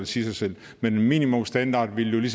siger sig selv men en minimumsstandard ville